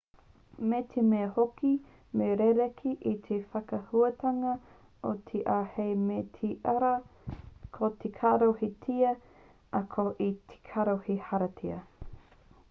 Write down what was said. me te mea hoki me rerekē te whakahuatanga o te r hei me te rr ko te caro he tia ā ko te carro he hāriata